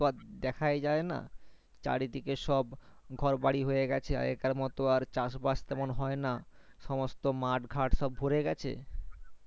দেখায় যায় না চারিদিকে সব ঘর বাড়ি হয়ে গিয়েছে আগে কার মতন আর চাষ বাস তেমন হয়না সমস্ত মাঠ ঘাট সব ভোরে গেছে